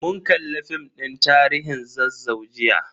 Mun kalli film din tarihin Zazzau jiya.